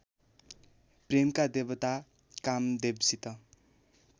प्रेमका देवता कामदेवसित